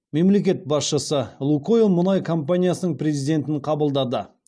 мемлекет басшысы лукойл мұнай компаниясының президентін қабылдады